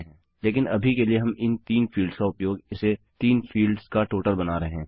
लेकिन अभी के लिए हम इन 3 फील्ड्स का उपयोग इसे 3 फील्ड्स का टोटल बना रहे हैं